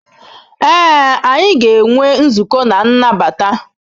Ee, anyị ga-enwe nzukọ na nnabata.